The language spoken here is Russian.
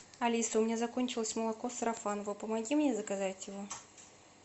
алиса у меня закончилось молоко сарафаново помоги мне заказать его